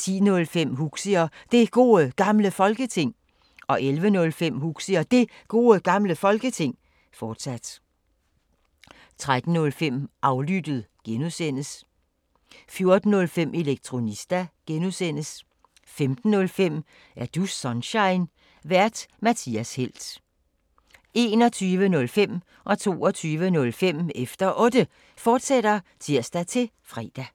10:05: Huxi og Det Gode Gamle Folketing 11:05: Huxi og Det Gode Gamle Folketing, fortsat 13:05: Aflyttet (G) 14:05: Elektronista (G) 15:05: Er du Sunshine? Vært:Mathias Helt 21:05: Efter Otte, fortsat (tir-fre) 22:05: Efter Otte, fortsat (tir-fre)